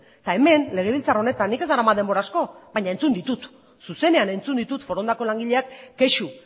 hemen legebiltzar honetan nik ez daramat denbora asko baina zuzenean entzun ditut forondako langileak kexu